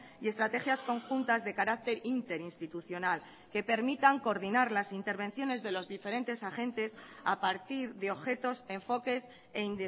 y estrategias conjuntas de carácter interinstitucional que permitan coordinar las intervenciones de los diferentes agentes a partir de objetos enfoques e